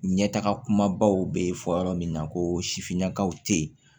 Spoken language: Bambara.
Ɲɛtaga kumabaw bɛ fɔ yɔrɔ min na ko sifinnakaw tɛ yen